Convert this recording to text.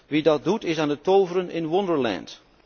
Wie dat doet is aan het toveren in Wonderland